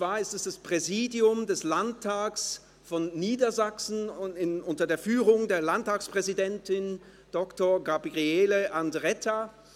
Es handelt sich um das Präsidium des Landtages von Niedersachsen unter der Leitung der Landtagespräsidentin Dr. Gabriele Andretta.